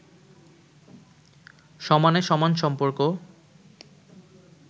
সমানে-সমান সম্পর্ক